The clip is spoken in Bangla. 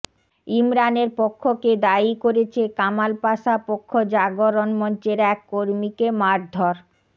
ইমরানের পক্ষকে দায়ী করেছে কামাল পাশা পক্ষ গণজাগরণ মঞ্চের এক কর্মীকে মারধর